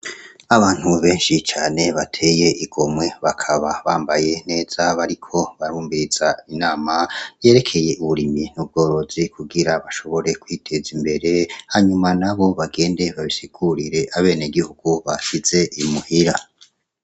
Abantu benshi cane bateye igomwe bakaba bambaye neza bariko barumviriza inama yerekeye uburimyi n'ubworozi kugira bashobore kwiteza imbere hanyuma nabo bagende babisigurire abenegihugu basize imuhira.